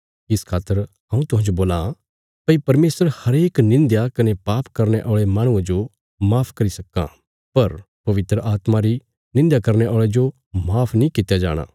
इस खातर हऊँ तुहांजो बोलां भई परमेशर हरेक निंध्या कने पाप करने औल़े माहणुये जो माफ करी सक्कां पर पवित्र आत्मा री निंध्या करने औल़े जो माफ नीं कित्या जाणा